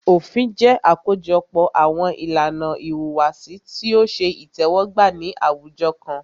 Òfin jẹ́ àkójọpọ̀ àwọn ìlànà ìhùwàsí tí o ṣe itẹ́wọ́gbà ní àwùjọ kan.